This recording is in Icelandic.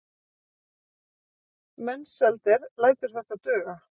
Mensalder lætur þetta duga.